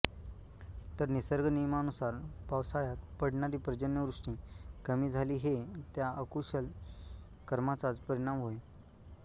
तर निसर्गनियमनानुसार पावसाळयात पडणारी पर्जन्यवृष्टी कमी झाली हे त्या अकुशषल कर्माचाच परिणाम होय